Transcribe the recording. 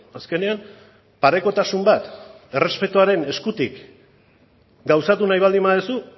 azkenean parekotasun bat errespetuaren eskutik gauzatu nahi baldin baduzu